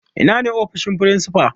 Ina ne ofishin firinsifa?